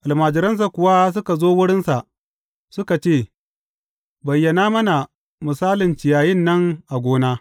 Almajiransa kuwa suka zo wurinsa suka ce, Bayyana mana misalin ciyayin nan a gona.